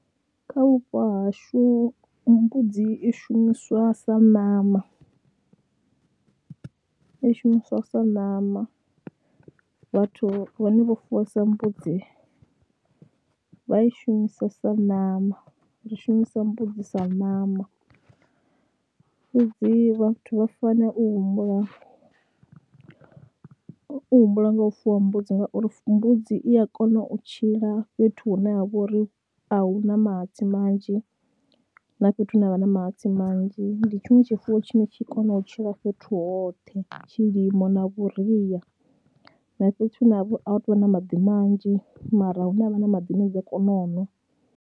Kha vhupo hashu mbudzi i shumiswa sa ṋama, i shumiswa sa ṋama, vhathu vhane vho fuwesa mbudzi vha i shumisesa ṋama, ri shumisa mbudzi sa ṋama fhedzi vhathu vha fanela u humbula, u humbula nga u fuwa mbudzi ngauri mbudzi i a kona u tshila fhethu hune ha vha uri a hu na mahatsi manzhi na fhethu hune ha vha na mahatsi manzhi. Ndi tshiṅwe tshifuwo tshine tshi kona u tshila fhethu hoṱhe tshilimo na vhuria na fhethu hune vha uri a hu tou vha na maḓi manzhi mara hu ne ha vha na maḓi ane dzi a kona u ṅwa.